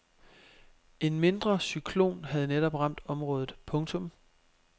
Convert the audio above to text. En mindre cyklon havde netop ramt området. punktum